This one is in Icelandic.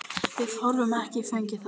Við höfum ekki fengið það.